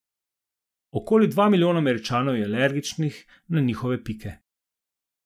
Okoli dva milijona Američanov je alergičnih na njihove pike.